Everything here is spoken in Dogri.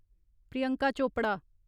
प्रियंका चोपरा